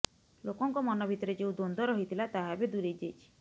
ଲୋକଙ୍କ ମନ ଭିତରେ ଯେଉଁ ଦ୍ବନ୍ଦ୍ବ ରହିଥିଲା ତାହା ଏବେ ଦୂରେଇ ଯାଇଛି